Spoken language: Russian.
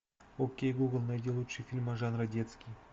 окей гугл найди лучшие фильмы жанра детский